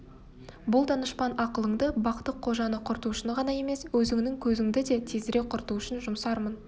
бұл данышпан ақылыңды бақты-қожаны құрту үшін ғана емес өзіңнің көзіңді де тезірек құрту үшін жұмсармын